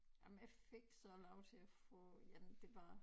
Jamen jeg fik så lov til at få 1 det var